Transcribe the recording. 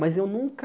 Mas eu nunca...